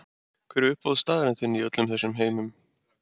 Hver er uppáhaldsstaðurinn þinn í öllum heiminum?